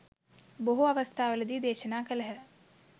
බොහෝ අවස්ථාවලදි දේශනා කළහ.